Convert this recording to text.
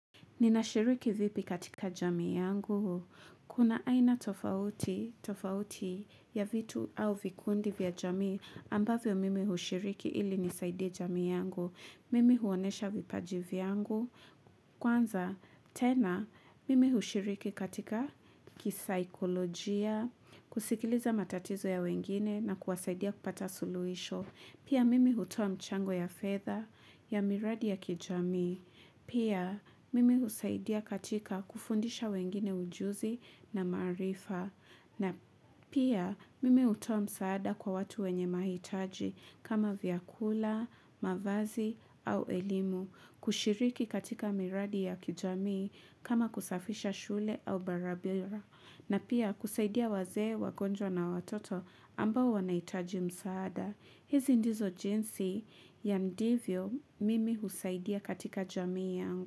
Ninashiriki vipi katika jamii yangu? Kuna aina tofauti ya vitu au vikundi vya jamii ambavyo mimi hushiriki ili nisaidie jamii yangu. Mimi huonyesha vipaji vyangu. Kwanza, tena, mimi hushiriki katika kisaikolojia, kusikiliza matatizo ya wengine na kuwasaidia kupata suluhisho. Pia mimi hutoa mchango ya fedha ya miradi ya kijamii. Pia mimi husaidia katika kufundisha wengine ujuzi na maarifa. Na pia mimi hutoa msaada kwa watu wenye mahitaji kama vyakula, mavazi au elimu, kushiriki katika miradi ya kijamii kama kusafisha shule au barabara. Na pia kusaidia wazee, wagonjwa na watoto ambao wanahitaji msaada. Hizi ndizo jinsi ya ndivyo mimi husaidia katika jamii yangu.